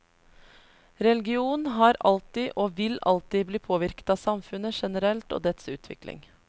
Religion har alltid, og vil alltid, bli påvirket av samfunnet generelt og dets utvikling.